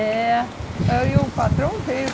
É. Aí o patrão veio.